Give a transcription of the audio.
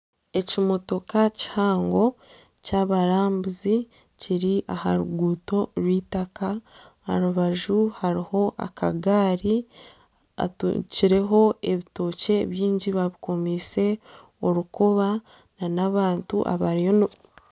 Ekimotoka kihango ky'abarambuzi kiri aha ruguuto rw'eitaka aha rubaju hariho akagaari atungikireho ebitookye byingi babikomiise orukoba nana abantu